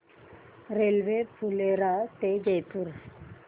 railway Phulera ते जयपूर